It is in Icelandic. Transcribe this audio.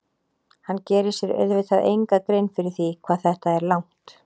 Hann gerir sér auðvitað enga grein fyrir því hvað þetta er langt.